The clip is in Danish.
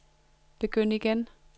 begynd igen